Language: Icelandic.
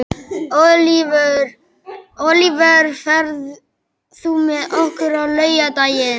Ólíver, ferð þú með okkur á laugardaginn?